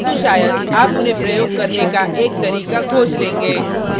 किन्तु शायद आप उन्हें प्रयोग करने का एक तरीका खोज लेंगे